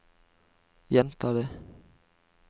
gjenta det